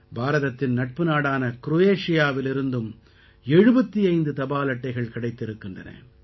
பாரதத்தின் நட்பு நாடான க்ரோயேஷியாவிலிருந்தும் 75 தபால் அட்டைகள் கிடைத்திருக்கின்றன